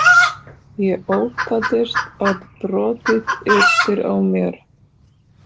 Ég óttaðist að brotið yrði á mér.